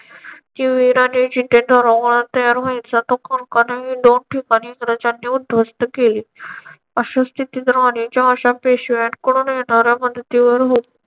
ती वीराने जिथे तो रोमन तयार व्हायचा. तो कोण का नवीन दोन ठिकाणे इंग्रजांनी उद्ध्वस्त केले. अशी स्थिती जर वाणीच्या अशा पेशव्यांकडून येणाऱ्या मदतीवर